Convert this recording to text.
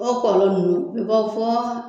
O kɔlɔ ninnu bɛ fɔ